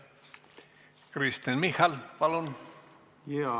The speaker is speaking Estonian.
Kristen Michal, palun!